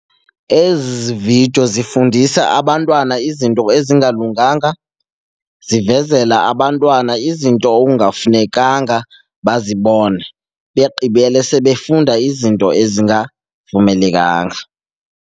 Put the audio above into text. Ezi vidiyo zifundisa abantwana izinto ezingalunganga, zivezela abantwana izinto okungafunekanga bazibone begqibele sebefunda izinto ezingavumelekanga.